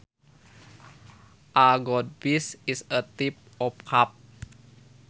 A goldfish is a type of carp